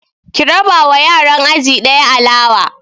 Ki raba wa yaran aji ɗaya alawa!